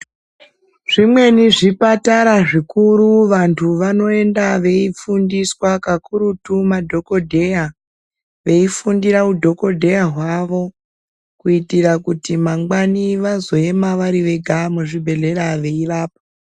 Zvimweni zvikwatara zvikuru vantu vanoenda veifundiswa kakurutu madhokodheya veifundira udhokodheya hwawo kuitira kuti mangwani vazoema vari vega muzvibhedhlera veirapa.